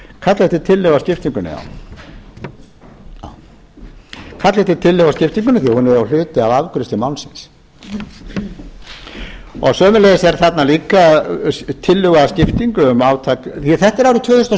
kalla eftir tillögu að skiptingunni já því að hún er jú hluti af afgreiðslu málsins sömuleiðis er þarna líka tillögu að skiptingu um átak því að þetta er árið tvö þúsund og